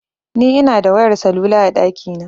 Ni Ina da wayar salula a ɗakina